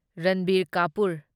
Ranbir Kapoor